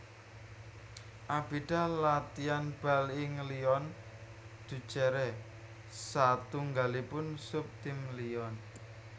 Abidal latian bal ing Lyon Duchère satunggalipun sub tim Lyon